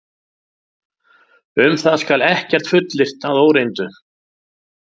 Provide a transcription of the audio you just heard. Um það skal ekkert fullyrt að óreyndu.